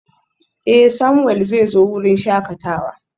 Eh, Samuel zai zo wurin shakatawa.